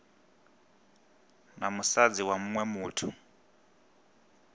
na musadzi wa muṅwe muthu